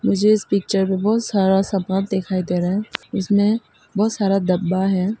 मुझे इस पिक्चर में बहुत सारा सामान दिखाई दे रहा है इसमें बहुत सारा डब्बा है।